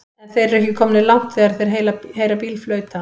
En þeir eru ekki komnir langt þegar þeir heyra bíl flauta.